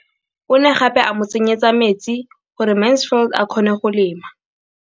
O ne gape a mo tsenyetsa metsi gore Mansfield a kgone go lema.